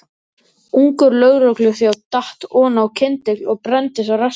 Ungur lögregluþjónn datt oná kyndil og brenndist á rassi.